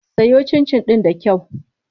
Soya cincin ɗin da kyau.